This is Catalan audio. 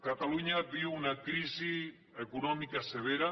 catalunya viu una crisi econòmica severa